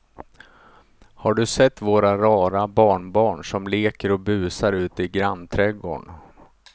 Har du sett våra rara barnbarn som leker och busar ute i grannträdgården!